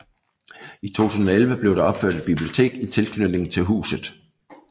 I 2011 blev der opført et bibliotek i tilknytning til huset